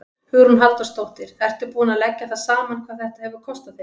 Hugrún Halldórsdóttir: Ertu búinn að leggja það saman hvað þetta hefur kostað þig?